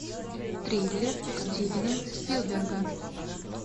триллер стивена спилберга